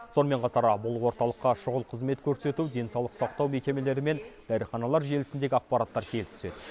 сонымен қатар бұл орталыққа шұғыл қызмет көрсету денсаулық сақтау мекемелері мен дәріханалар желісіндегі ақпараттар келіп түседі